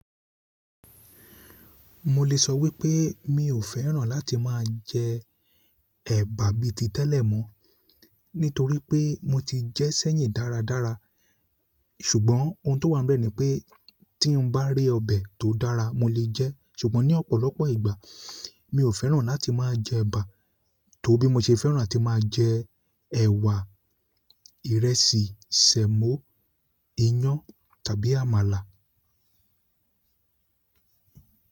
Mo lè sọ wípé mi ò fẹ́ràn láti máa jẹ eba bi ti tele mo, nítorí pe mo ti je sẹ́yìn dáradára ṣùgbọ́n ohun tó wá ń bẹ́ ní pé tí n bá rí ọbẹ̀ tó dára mo lè jẹ́. Ṣùgbọ́n ní ọ̀pọ̀lọpọ̀ ìgbà mi ò fẹ́ràn láti máa jẹ ẹ̀bà, tó bí mo ṣe fẹ́ràn láti máa jẹ ẹ̀wà, ìrẹsì, sẹ̀mọ́, iyán tàbí àmàlà.